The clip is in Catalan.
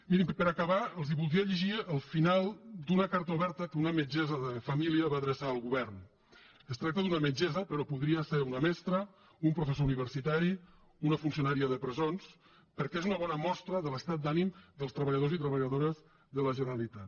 mirin per acabar els voldria llegir el final d’una carta oberta que una metgessa de família va adreçar al govern es tracta d’una metgessa però podria ser una mestra un professor universitari una funcionària de presons perquè és una bona mostra de l’estat d’ànim dels treballadors i treballadores de la generalitat